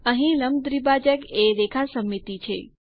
અહીં લંબ દ્વિભાજક એ રેખા સમમિતિ છે